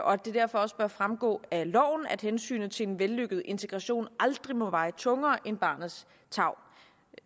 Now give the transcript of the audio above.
og at det derfor også bør fremgå af loven at hensynet til en vellykket integration aldrig må veje tungere end barnets tarv